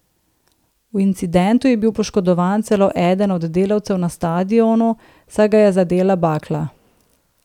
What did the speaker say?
V incidentu je bil poškodovan celo eden od delavcev na stadionu, saj ga je zadela bakla.